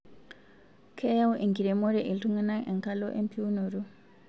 Keyau enkiremore iltungana enkalu empiunoto